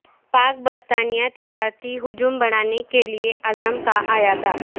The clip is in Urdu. پاک برطانیہ تجارتی حجم بڑھانے کے عزم کا اعادہ